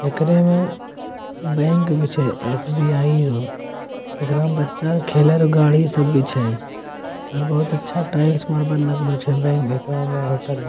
एकरे में बैंक भी छै एस.बी.आई याे । एकरा में बच्चा खेले रौ गाड़ी सब भी छै। और बहुत अच्छा टाइल्स मार्बल लागलो छै। बैंक एकरा में होटल में--